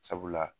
Sabula